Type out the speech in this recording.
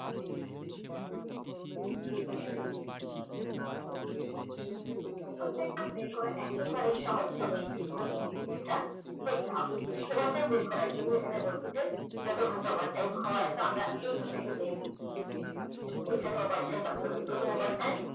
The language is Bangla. overtime টা বার করা একেবারেই সহজ তবে মনোযোগ দিয়ে যেটা দেখতে হবে overtime বের করার জন্য এখানে বলছে যে যত ঘন্টা overtime হয় তো আমরা এই ঘরটা একটু দেখি এখানে overtime ভালোভাবে কত overtime